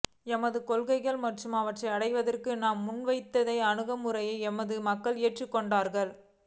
எமது கொள்கைகள் மற்றும் அவற்றை அடைவதற்காக நாம் முன்வைத்த அணுகுமுறைகளை எமது மக்கள் ஏற்றுக்கொண்டுள்ளார்கள்